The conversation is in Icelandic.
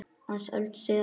Aðeins öld síðar.